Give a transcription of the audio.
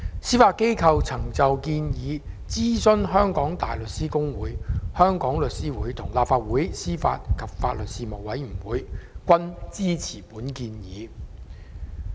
司法機構曾就建議諮詢香港大律師公會、香港律師會及立法會司法及法律事務委員會，他們均支持建議。